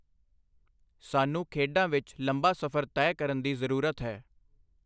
ਸਾਨੂੰ ਖੇਡਾਂ ਵਿੱਚ ਲੰਬਾ ਸਫ਼ਰ ਤੈਅ ਕਰਨ ਦੀ ਜ਼ਰੂਰਤ ਹੈ।